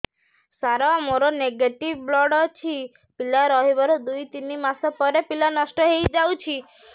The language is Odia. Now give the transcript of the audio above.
ସାର ମୋର ନେଗେଟିଭ ବ୍ଲଡ଼ ଅଛି ପିଲା ରହିବାର ଦୁଇ ତିନି ମାସ ପରେ ପିଲା ନଷ୍ଟ ହେଇ ଯାଉଛି